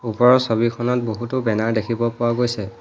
ওপৰৰ ছবিখনত বহুতো বেনাৰ দেখিব পোৱা গৈছে।